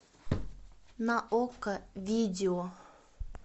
на окко видео